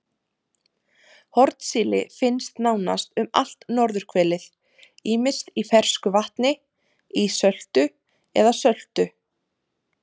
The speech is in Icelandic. Hornsíli finnst nánast um allt norðurhvelið ýmist í fersku vatni, ísöltu eða söltu.